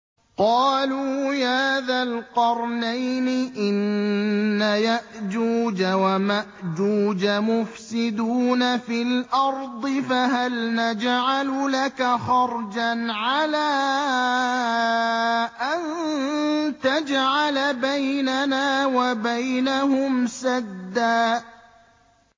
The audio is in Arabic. قَالُوا يَا ذَا الْقَرْنَيْنِ إِنَّ يَأْجُوجَ وَمَأْجُوجَ مُفْسِدُونَ فِي الْأَرْضِ فَهَلْ نَجْعَلُ لَكَ خَرْجًا عَلَىٰ أَن تَجْعَلَ بَيْنَنَا وَبَيْنَهُمْ سَدًّا